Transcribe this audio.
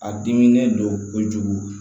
A dimi ne don kojugu